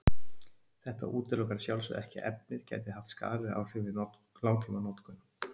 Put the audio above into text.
Þetta útilokar að sjálfsögðu ekki að efnið gæti haft skaðleg áhrif við langtímanotkun.